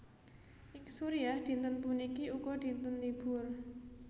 Ing Suriah dinten puniki uga dinten libur